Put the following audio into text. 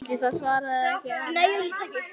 Ætli það, svaraði hann dræmt.